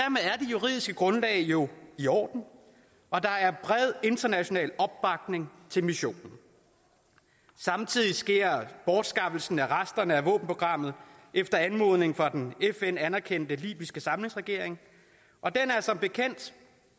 juridiske grundlag jo i orden og der er bred international opbakning til missionen samtidig sker bortskaffelsen af resterne af våbenprogrammet efter anmodning fra den fn anerkendte libyske samlingsregering og den er som bekendt